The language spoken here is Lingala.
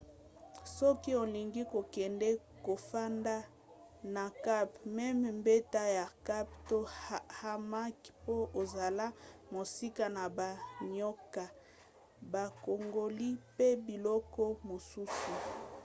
soki olingi kokende kofanda na camp mema mbeto ya camp to hamac po ozala mosika na banioka bankongoli mpe biloko mosusu